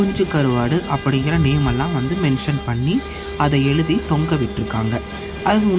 குஞ்சு கருவாடு அப்படிங்கற நேம் எல்லா வந்து மென்ஷன் பண்ணி அத எழுதி தொங்க விட்டுருக்காங்க அதுக்கு முன்னாடி.